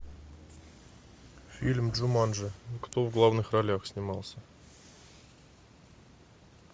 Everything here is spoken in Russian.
фильм джуманджи кто в главных ролях снимался